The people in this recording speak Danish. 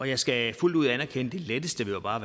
jeg skal fuldt ud anerkende at det letteste jo bare